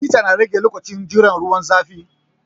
Hita na rage lokacin jiran ruwan zafi